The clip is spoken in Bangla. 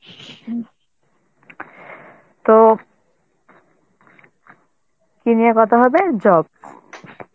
তো কি নিয়ে কথা হবে? job